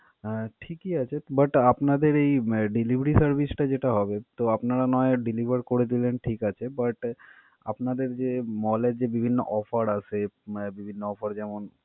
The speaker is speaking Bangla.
আহ ঠিকই আছে, but আপনাদের এই delivery service টা যেটা হবে, তো আপনারা না হয় deliver করে দিলেন, ঠিক আছে but আপনাদের যে mall এর যে বিভিন্ন offer আছে, বিভিন্ন offer যেমন।